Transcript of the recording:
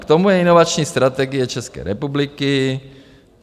K tomu je inovační strategie České republiky.